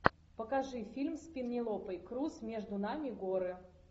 покажи фильм с пенелопой крус между нами горы